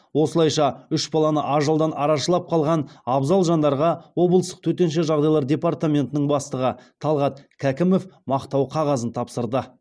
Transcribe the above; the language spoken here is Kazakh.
осылайша үш баланы ажалдан арашалап қалған абзал жандарға облыстық төтенше жағдайлар департаментінің бастығы талғат кәкімов мақтау қағазын тапсырды